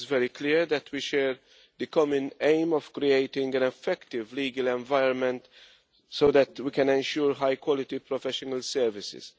It is clear that we share the common aim of creating an effective legal environment so that we can ensure high-quality professional services.